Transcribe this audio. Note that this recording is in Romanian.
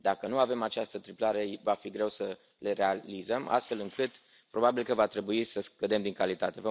Dacă nu avem această triplare, va fi greu să le realizăm, astfel încât, probabil că va trebui să scădem din calitate.